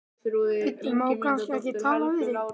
Bíddu, má kannski ekki tala við þig?